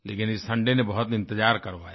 लेकिन इस सुंदय ने बहुत इंतज़ार करवाया